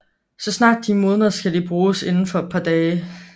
Så snart de modner skal de bruges inden for et par dage